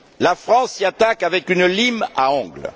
La France s'y attaque avec une lime à ongles.